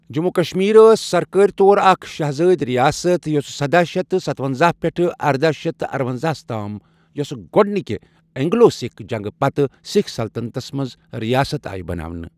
جموں و کشمیر ٲس سَرکٲرۍ طور اَکھ شاہزٲدۍ رِیاست یۄسہ سداہ شیٚتھ تہٕ ستونزاہ پؠٹھٕ ارداہ شیٚتھ تہٕ ارونزاہس تام یۄسہ گۄڈنکہ اِنگلو سِکھ جنٛگہٕ پَتہٕ، سِکھ سلطنتس منٛز رِیاست آیہ بَناونہٕ۔